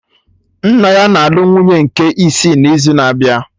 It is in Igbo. Nna ya na-alụ nwunye nke isi n'izu na-abịa